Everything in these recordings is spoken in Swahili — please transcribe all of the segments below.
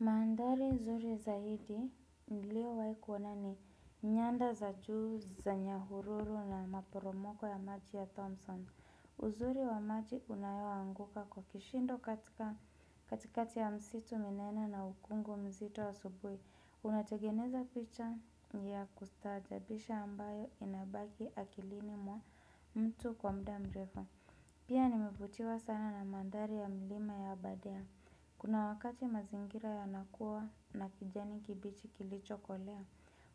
Mandhari nzuri zaidi nilio wahi kuona ni nyanda za juu za nyahururu na maporomoko ya maji ya Thompson. Uzuri wa maji unayo anguka kwa kishindo katika katikati ya msitu minene na ukungu mzito wa subuhi. Unategeneza picha ya kustaajabisha ambayo inabaki akilini mwa mtu kwa mda mrefu. Pia nimevutiwa sana na mandhari ya milima ya abadea. Kuna wakati mazingira yana kuwa na kijani kibichi kilicho kolea.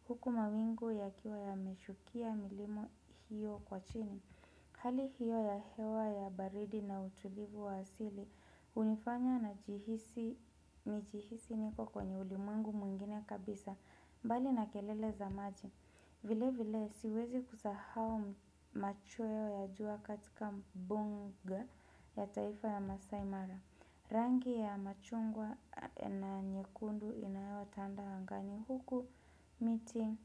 Huku mawingu yakiwa ya meshukia milima hiyo kwa chini hali hiyo ya hewa ya baridi na utulivu wa asili hunifanya nijihisi niko kwenye ulimwengu mwingine kabisa. Mbali na kelele za maji vile vile siwezi kusahau machweo ya jua katika mbuga ya taifa ya maasai mara rangi ya machungwa na nyekundu inayotanda angani huku miti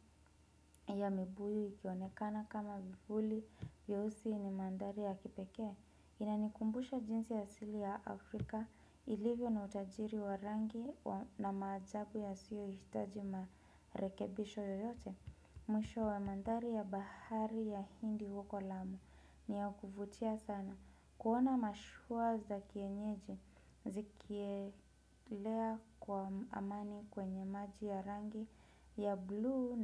ya mibuyu ikionekana kama vivuli vyeusi yenye mandhari ya kipekee. Inanikumbusha jinsi asili ya Afrika ilivyo na utajiri wa rangi na maajabu yasiyo hitaji marekebisho yoyote. Mwisho wa mandhari ya bahari ya hindi huko lamu ni ya kuvutia sana. Kuona mashua za kienyeji zikielea kwa amani kwenye maji ya rangi ya bluu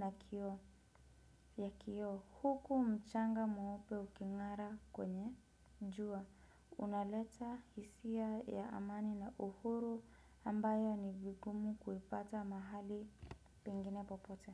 na kioo huku mchanga mweupe uking'ara kwenye jua. Unaleta hisia ya amani na uhuru ambayo ni vigumu kuipata mahali pengine popote.